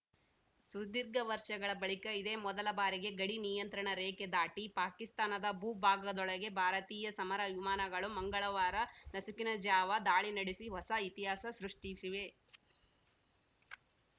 ಸುದೀರ್ಘ ವರ್ಷಗಳ ಬಳಿಕ ಇದೇ ಮೊದಲ ಬಾರಿಗೆ ಗಡಿ ನಿಯಂತ್ರಣ ರೇಖೆ ದಾಟಿ ಪಾಕಿಸ್ತಾನದ ಭೂಭಾಗದೊಳಗೆ ಭಾರತೀಯ ಸಮರ ವಿಮಾನಗಳು ಮಂಗಳವಾರ ನಸುಕಿನ ಜಾವ ದಾಳಿ ನಡೆಸಿ ಹೊಸ ಇತಿಹಾಸ ಸೃಷ್ಟಿಸಿವೆ